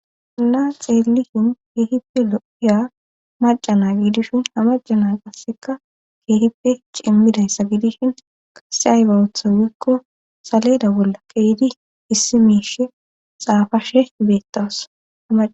anaa xeellihin keehippe lo7iya macana giidishin hamacana qasseka keehippe cemmidayssa gidishin qasse haybawotha wiikko saleeda bolla qeyidi issi miishe xaafashe beettawas